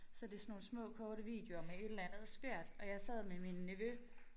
Så det sådan nogle små korte videoer med et eller andet skørt og jeg sad med min nevø